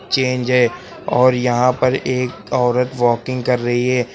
Change है और यहां पर एक औरत वॉकिंग कर रही है।